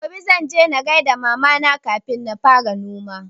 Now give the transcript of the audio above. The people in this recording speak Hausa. Gobe zan je in gaida mama na kafin na fara noma